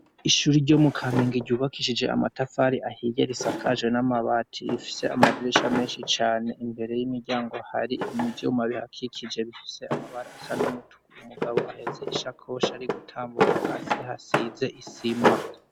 Ishuri ryo mu Kamenge ryubakishije amatafari ahiye risakaje n'amabati, bifise amadirisha menshi cane imbere y'imiryango hari imivyuma bihakikije bifise amabara asa n'umutuku umugabo ahetse ishakoshi ari gutambuka hasi hasize isima.